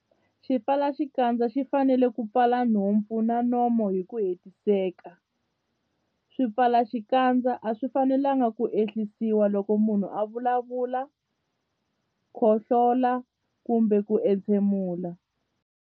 Xipfalaxikandza xi fanele ku pfala nhompfu na nomo hi ku hetiseka. Swipfalaxikandza a swi fanelanga ku ehlisiwa loko munhu a vulavula, khohlola kumbe ku entshemula.